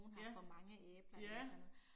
Ja. Ja